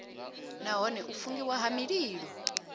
nahone u fungiwa ha mililo